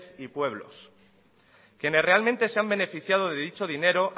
y pueblos quienes realmente se han beneficiado de dicho dinero